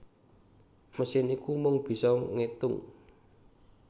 Mesin iku mung bisa ngétung